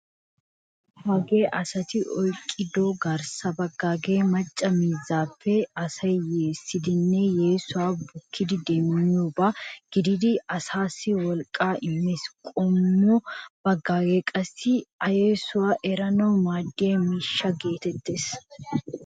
Hagee asati oyqqido garssa baggaage macca miizzaappe asay yeessidinne yeesuwa bukkidi demmiyooba gididi asaassi wolqqaa immees. Qommo baggage qassi a yesuwa eranaassi maaddiya miishsha geetettees.